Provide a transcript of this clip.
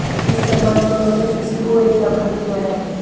इस संबंध में उन्होंने डीसी को एक ज्ञापन भी दिया है